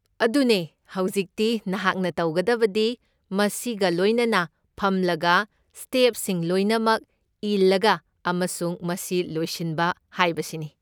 ꯑꯗꯨꯅꯦ! ꯍꯧꯖꯤꯛꯇꯤ ꯅꯍꯥꯛꯅ ꯇꯧꯒꯗꯕꯗꯤ ꯃꯁꯤꯒ ꯂꯣꯏꯅꯅ ꯐꯝꯂꯒ ꯁ꯭ꯇꯦꯞꯁꯤꯡ ꯂꯣꯏꯅꯃꯛ ꯏꯜꯂꯒ ꯑꯃꯁꯨꯡ ꯃꯁꯤ ꯂꯣꯏꯁꯤꯟꯕ ꯍꯥꯏꯕꯁꯤꯅꯤ꯫